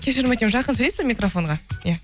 кешірім өтінемін жақын сөйлейсіз бе микрофонға иә